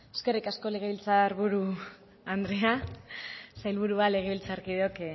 eskerrik asko legebiltzar buru andrea sailburua legebiltzarkideok